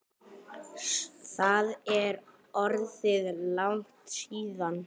Það er orðið langt síðan.